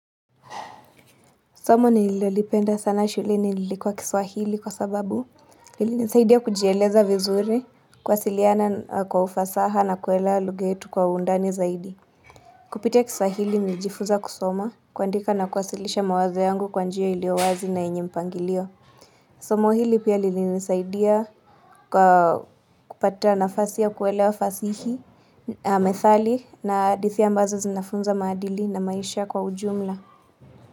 Somo nililolipenda sana shuleni lilikuwa kiswahili kwa sababu lilinisaidia kujieleza vizuri kuwasiliana kwa ufasaha na kuelewa lugha yetu kwa undani zaidi Kupitia kiswahili nilijifunza kusoma kuandika na kuwasilisha mawazo yangu kwa njia iliyowazi na yenye mpangilio Somo hili pia lilinisaidia kwa kupata nafasi ya kuelewa fasihi, methali na hadithi ambazo zinafunza maadili na maisha kwa ujumla.